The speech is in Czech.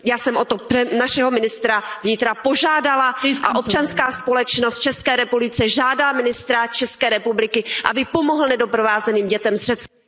Já jsem o to našeho ministra vnitra požádala a občanská společnost v České republice žádá ministra České republiky, aby pomohl nedoprovázeným dětem z Řecka...